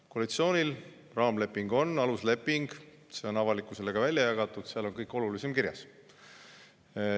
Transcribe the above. Koalitsioonil on raamleping, alusleping, see on avalikkusele välja jagatud, seal on kõik olulisim kirjas.